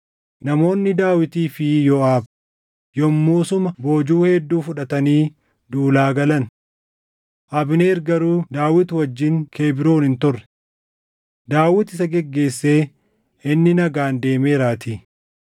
Namoonni Daawitii fi Yooʼaab yommuu suma boojuu hedduu fudhatanii duulaa galan. Abneer garuu Daawit wajjin Kebroon hin turre; Daawit isa geggeessee inni nagaan deemeeraatii.